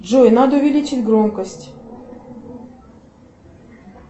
джой надо увеличить громкость